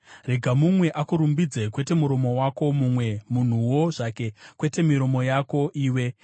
Rega mumwe akurumbidze, kwete muromo wako; mumwe munhuwo zvake, kwete miromo yako iwe.